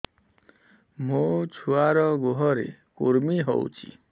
ମୋ ଛୁଆର୍ ଗୁହରେ କୁର୍ମି ହଉଚି